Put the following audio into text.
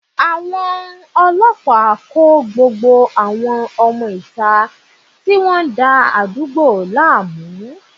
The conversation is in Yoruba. Àwọn ọlọ́pàá kó gbogbo àwọn ọmọ ìta tí wọ́n ń dá àdúgbò lánàá.